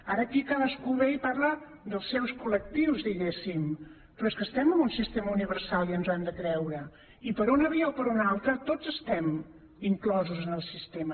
ara aquí cadascú ve i parla dels seus col·lectius diguéssim però és que estem en un sistema universal i ens ho hem de creure i per una via o per una altra tots estem inclosos en el sistema